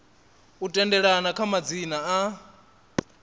u tendelana kha madzina a